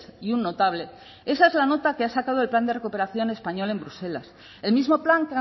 y un notable esa es la nota que ha sacado del plan de recuperación español en bruselas el mismo plan